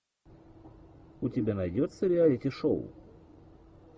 у тебя найдется реалити шоу